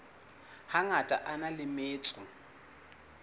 hangata a na le metso